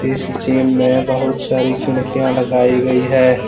इस जिम में बहुत सारी खिड़कियां लगाई गई है।